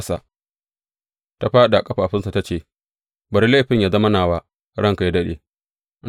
Ta fāɗi a ƙafafunsa ta ce, Bari laifin yă zama nawa, ranka yă daɗe.